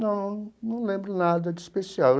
Não, não lembro nada de especial.